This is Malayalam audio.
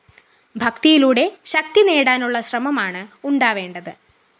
ഭക്തിയിലൂടെ ശക്തിനേടാനുള്ള ശ്രമമാണ് ഉണ്ടാവേണ്ടത്